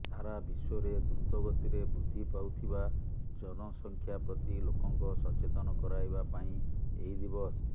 ସାରା ବିଶ୍ୱରେ ଦ୍ରୁତ ଗତିରେ ବୃଦ୍ଧି ପାଉଥିବା ଜନସଂଖ୍ୟା ପ୍ରତି ଲୋକଙ୍କ ସଚେତନ କରାଇବା ପାଇଁ ଏହି ଦିବସ